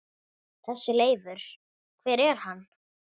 Þessi Leifur. hver er hann?